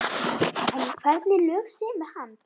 En hvernig lög semur hann?